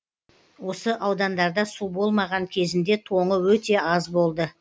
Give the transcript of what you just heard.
осы аудандарда су болмаған кезінде тоңы өте аз болды